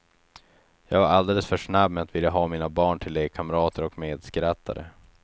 Jag var alldeles för snabb med att vilja ha mina barn till lekkamrater och medskrattare.